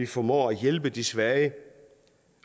formår at hjælpe de svage